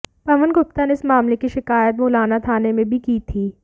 पवन गुप्ता ने इस मामले की शिकायत मुलाना थाने में भी की थी